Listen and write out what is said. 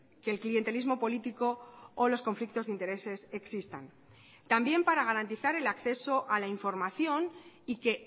que el clientelismo político o los conflictos de intereses existan también para garantizar el acceso a la información y que